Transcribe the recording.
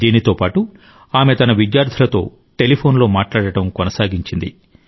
దీంతో పాటు ఆమె తన విద్యార్థులతో టెలిఫోన్లో మాట్లాడటం కొనసాగించింది